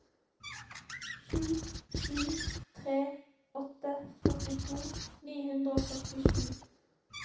sju sju tre åtte førtito ni hundre og førtisju